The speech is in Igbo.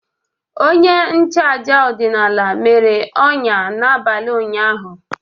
Onye nchụaja ọdịnala mere ọnya n'abalị ụnyaahụ.